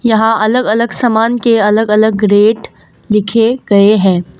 यहां अलग अलग समान के अलग अलग रेट लिखे गए हैं ।